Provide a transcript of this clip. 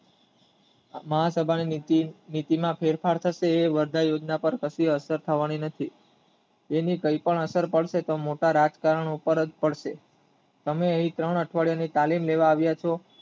મહાસભાની નીતિમાં ફેરફાર થશે એ વરદાય યોજના પાર અસર થવાની નથી એની કઈ પણ અસર કમસેકમ મોટા રાજકારનો ઉપર જ થશે અને એ ત્રણ અઠવાડિયા તાલીમ લેવા આવ્યા છો